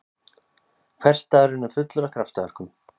Hversdagurinn er fullur af kraftaverkum!